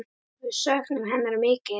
Við söknum hennar mikið.